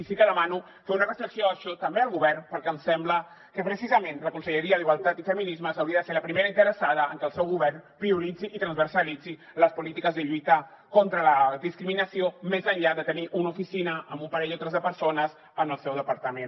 i sí que demano fer una reflexió també al govern perquè em sembla que precisament la conselleria d’igualtat i feminismes hauria de ser la primera interessada en que el seu govern prioritzi i transversalitzi les polítiques de lluita contra la discriminació més enllà de tenir una oficina amb un parell o tres de persones en el seu departament